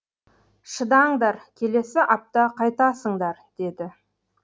шыдаңдар келесі апта қайтасыңдар деді